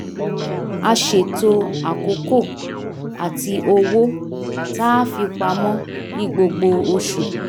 a ṣètò àkókò ati owó tá a fi pamọ́ ní gbogbo oṣù